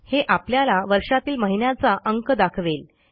हे आपल्याला वर्षातील महिन्याचा अंक दाखवेल